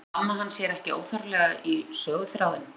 Blandaði amma hans sér ekki óþarflega í söguþráðinn?